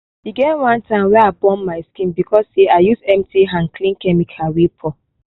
e get one time wey i burn my skin because say i use empty hand clean chemical wey pour.